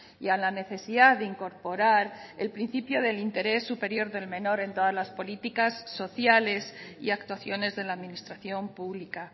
y a la necesidad de incorporar el principio del interés superior del menor en todas las políticas sociales y actuaciones de la administración pública